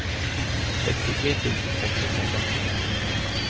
sextiotre tusen sexhundratretton